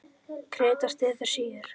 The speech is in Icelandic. Krita styður síur.